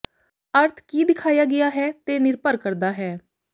ਅਰਥ ਕੀ ਦਿਖਾਇਆ ਗਿਆ ਹੈ ਤੇ ਨਿਰਭਰ ਕਰਦਾ ਹੈ